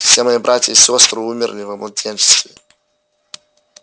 все мои братья и сестры умерли во младенчестве